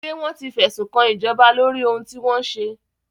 Ṣé wọ́n ti fẹ́sùnkan ìjọba lóri ohun tí wọ́n ṣe?